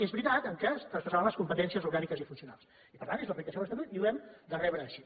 és veritat que es traspassaven les competències orgàniques i funcionals i per tant és l’aplicació de l’estatut i ho hem de rebre així